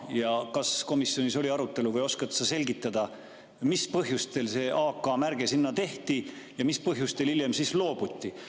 Ja kas komisjonis oli arutelu või oskad sa selgitada, mis põhjusel see AK-märge sinna tehti ja mis põhjusel hiljem loobuti?